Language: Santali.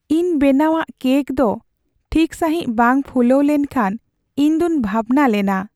ᱤᱧ ᱵᱮᱱᱟᱣᱟᱜ ᱠᱮᱹᱠ ᱫᱚ ᱴᱷᱤᱠ ᱥᱟᱹᱦᱤᱡ ᱵᱟᱝ ᱯᱷᱩᱞᱟᱹᱣ ᱞᱮᱱ ᱠᱷᱟᱱ ᱤᱧ ᱫᱚᱧ ᱵᱷᱟᱵᱽᱱᱟ ᱞᱮᱱᱟ ᱾